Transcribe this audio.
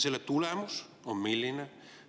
Selle tulemus on milline?